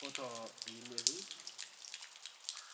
ወቂባ ትረአ።